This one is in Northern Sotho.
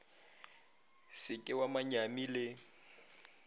se ke wa manyami le